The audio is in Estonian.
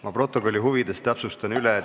Ma protokolli huvides täpsustan üle.